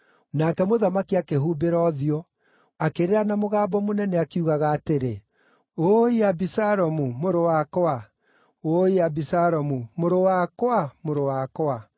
Nake mũthamaki akĩhumbĩra ũthiũ, akĩrĩra na mũgambo mũnene akiugaga atĩrĩ, “Ũũi Abisalomu, mũrũ wakwa! Ũũi Abisalomu, mũrũ wakwa, mũrũ wakwa!”